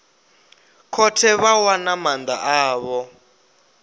khothe vha wana maanda avho